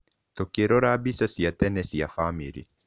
Tũkĩrora mbica cia tene cia famĩrĩ.